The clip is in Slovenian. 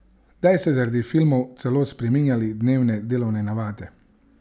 Kdaj ste zaradi filmov celo spreminjali dnevne delovne navade?